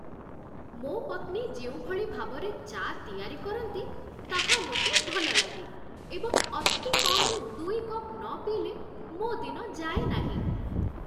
ମୋ ପତ୍ନୀ ଯେଉଁଭଳି ଭାବରେ ଚା' ତିଆରି କରନ୍ତି, ତାହା ମୋତେ ଭଲ ଲାଗେ ଏବଂ ଅତିକମ୍‌ରେ ଦୁଇ କପ୍ ନ ପିଇଲେ ମୋ ଦିନ ଯାଏ ନାହିଁ।